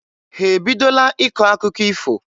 Ha ebidola ịkọ akụkọ ifo?